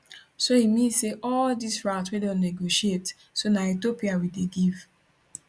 so e mean say all dis routes wey don negotiate so na ethiopia we dey give